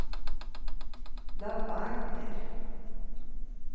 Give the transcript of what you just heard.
Levanger